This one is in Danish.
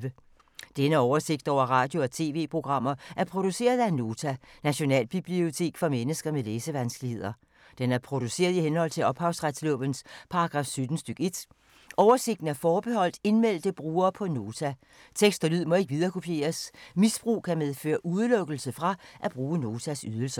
Denne oversigt over radio og TV-programmer er produceret af Nota, Nationalbibliotek for mennesker med læsevanskeligheder. Den er produceret i henhold til ophavsretslovens paragraf 17 stk. 1. Oversigten er forbeholdt indmeldte brugere på Nota. Tekst og lyd må ikke viderekopieres. Misbrug kan medføre udelukkelse fra at bruge Notas ydelser.